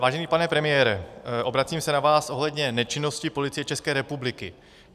Vážený pane premiére, obracím se na vás ohledně nečinnosti Policie České republiky.